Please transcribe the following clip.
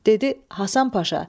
Dedi: Hasan Paşa,